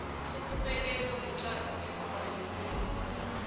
sokubekelwa ngeqadi ekubhadeleni